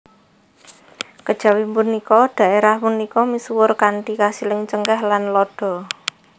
Kejawi punika daérah punika misuwur kanthi kasiling cengkeh lan lada